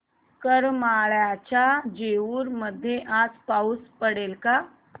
करमाळ्याच्या जेऊर मध्ये आज पाऊस पडेल का